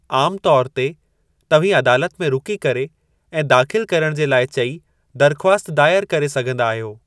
आम तौर ते, तव्हीं अदालत में रुकी करे ऐं दाख़िलु करणु जे लाइ चई दरख़्वास्त दायर करे सघिन्दा आहियो।